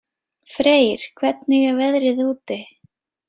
Freyr, hvernig er veðrið úti?